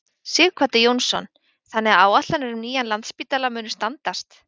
Sighvatur Jónsson: Þannig að áætlanir um nýjan Landspítala munu standast?